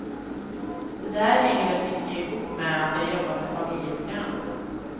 Det där hänger väl mycket ihop med att jag jobbar med familjeprogram.